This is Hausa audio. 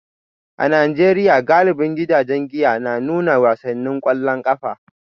A Najeriya, galibin gidajen giya na nuna wasannin kwallon kafa